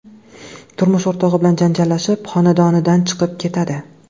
turmush o‘rtog‘i bilan janjallashib, xonadonidan chiqib ketadi.